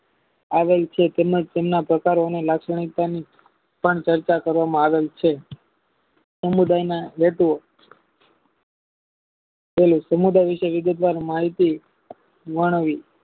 આવેલું છે તેને તેમના પોતા રહેવાની લાક્ષણિકતા પાર ચર્ચા કરવામાં આવી છે સમુદાયના ગતવો સમુદાયના